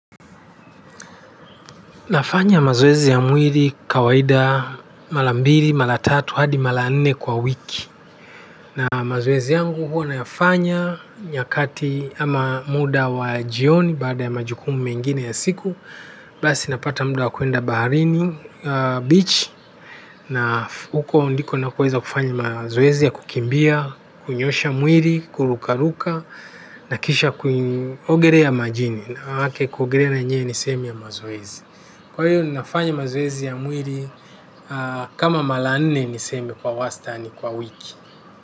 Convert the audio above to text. Nafanya mazoezi ya mwili kawaida mara mbili, mara tatu, hadi mara nne kwa wiki. Na mazoezi yangu huwa nayafanya nyakati ama muda wa jioni baada ya majukumu mengine ya siku basi napata muda wa kwenda Baharini beach. Na huko ndiko nakoweza kufanya mazoezi ya kukimbia, kunyosha mwili, kurukaruka, na kisha kuogelea majini. Manake kuogelea na yenyewe ni sehemu ya mazoezi. Kwa hiyo ninafanya mazoezi ya mwili kama mara nne niseme kwa wastani kwa wiki.